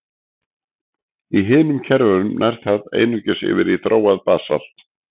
Í hinum kerfunum nær það einungis yfir í þróað basalt.